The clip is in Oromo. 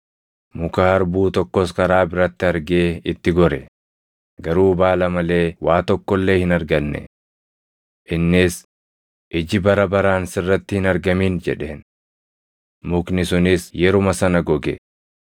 Muka harbuu tokkos karaa biratti argee itti gore; garuu baala malee waa tokko illee hin arganne. Innis, “Iji bara baraan sirratti hin argamin!” jedheen. Mukni sunis yeruma sana goge.